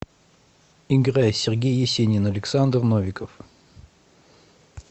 играй сергей есенин александр новиков